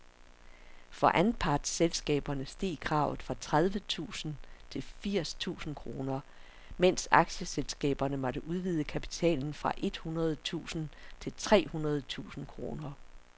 For anpartsselskaberne steg kravet fra tredive tusind til firs tusind kroner, mens aktieselskaberne måtte udvide kapitalen fra et hundrede tusind til tre hundrede tusind kroner.